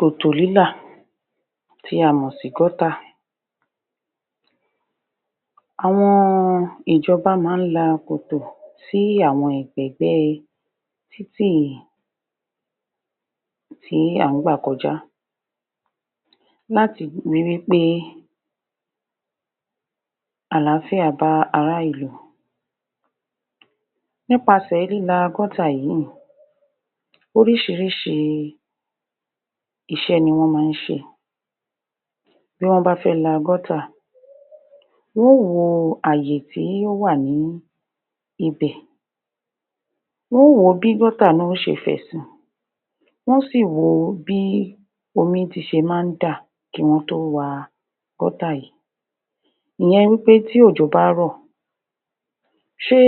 Kòtò lílà tí a mọ̀ sí gọ́tà, àwọn ìjọba máa ń la kòtò sí àwọn ẹ̀gbẹ̀-ẹ̀gbẹ́ títì èrò tí à ń gbà kọjá láti ri wí pé àlááfíà bá ará ìlú nípasè líla gọ́tà yìí, oríṣiríṣi iṣẹ́ ni wọ́n máa ń ṣe bí wọ́n bá fẹ́ la gọ́tà wọn ó wo ààyè tó wà ní ibẹ̀ wọn ó wo bí gọ́tà náà ó ṣe fẹ̀sí, wón ó sì wo bí omi ti ṣe máa ń dà kí wọ́n tó wa gọ́tà yìí. Ìyẹn wí pé tí òjò bá rọ̀, ṣé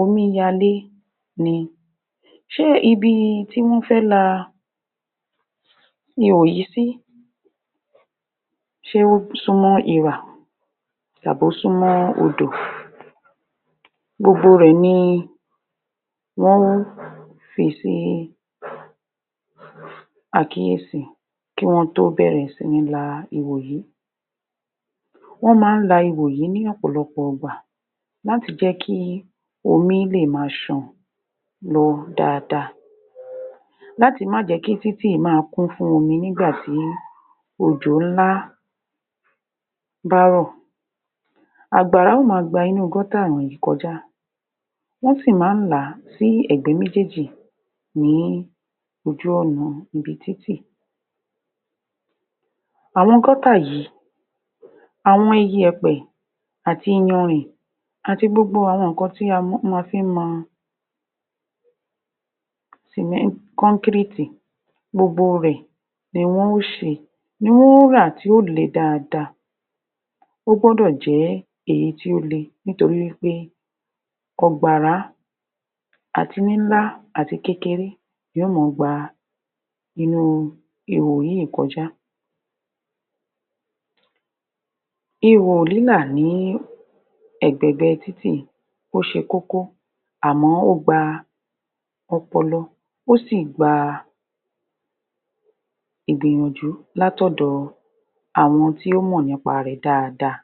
omíyalé ni? ṣé ibi tí wọ́n fẹ́ la ihò yìí sí, ṣé ó súnmọ́ irà? tàb'ósúnmọ́ odò? gbogbo rẹ̀ ni wọn ó fi sí àkíyèsí kí wọ́n tó bẹ̀rẹ̀ sí ní la ihò yìí wọ́n máa ń la ihò yìí ní ọ̀pọ̀lọpọ̀ igbà láti jẹ́ kí omi lè máa sàn lọ dáadáa, láti má jẹ̀ẹ́ kí títì máa kún fún omi nígbà tí òjò ńlá bárọ̀. Àgbàrá ó ma gba inú gọ́tà wọ̀nyí kọjá wọ́n sì máa ń là á sí ẹ̀gbẹ́ méjèèjì ní ojú ọ̀nà ibi títì, àwọn gọ́tà yìí àwọn iyẹ̀pẹ̀ àti ìyanrìn ati gbogbo àwọn nǹkan tí a fi ń mọ sìmẹ́n, kọ́ńkíréètì gbogbo rẹ̀ ni wọn ó ṣe ni wọn ó rà tí ó le dáadáa ó gbọ́dọ̀ jẹ́ èyí tí ó le nítorí wí pé ọ̀gbàrá àti níńla àti kékeré yó mọ gba inú ihò yìí kọjá ihò lílà ní ẹ̀gbẹ̀-ẹ̀gbẹ́ títì ó ṣe kókó àmọ́ ó gba ọpọlọ ó sì gba ìgbìyànjú lát'òdọ àwọn tí ó mọ̀ nípa rẹ̀ dáadáa